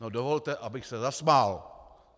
No dovolte, abych se zasmál.